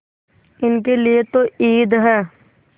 इनके लिए तो ईद है